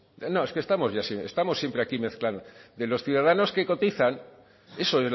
no es que estamos siempre aquí mezclando de los ciudadanos que cotizan eso